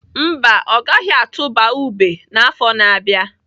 Mba, ọ gaghị atụba ube n'afọ a na-abịa.